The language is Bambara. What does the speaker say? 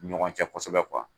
U ni ɲɔgɔn cɛ kosɛbɛ kuwa.